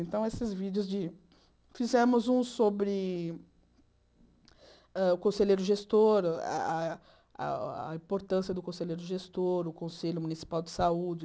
Então, esses vídeos de... Fizemos um sobre hã o conselheiro gestor, ah ah ah a importância do conselheiro gestor, o Conselho Municipal de Saúde.